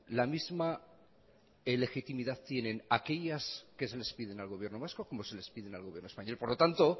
la misma legitimidad tienen aquellas que se les piden al gobierno vasco como se les piden al gobierno español por lo tanto